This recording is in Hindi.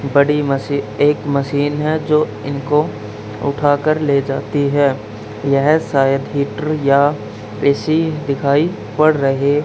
बड़ी मशी एक मशीन है जो इनको उठा कर ले जाती है यह शायद हीटर या ए_सी दिखाई पड़ रहे--